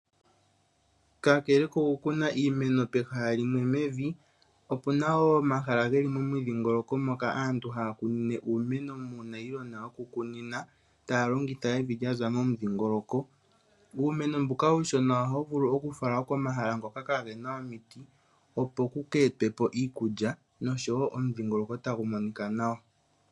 Kakele kokukuna iimeno pehala limwe mevi, opu na wo omahala ge li momidhingoloko moka aantu haya kunine uumeno muunayilona wokukunina taya longitha evi lya za momudhingoloko. Uumeno mbuka uushona ohawu vulu okufalwa komahala ngoka kaage na omiti opo ku ka etwe po okulya nosho wo omudhingoloko tagu monika nawa.